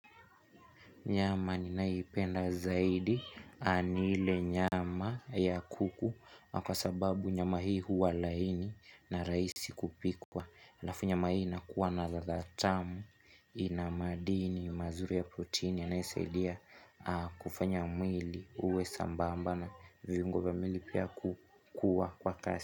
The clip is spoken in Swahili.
Nyama ninayoipenda zaidi, ni ile nyama ya kuku, kwa sababu nyama hii huwa laini na rahisi kupikwa. Halafu nyama hii inakuwa na latha tamu, ina maadini, mazuri ya proteini, yanayosaidia kufanya mwili uwe sambamba na viungo vya mwili pia kukua kwa kasi.